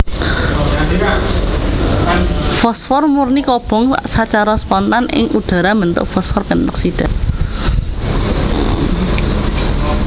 Fosfor murni kobong sacara spontan ing udhara mbentuk fosfor pentoksida